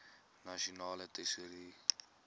nasionale tesourie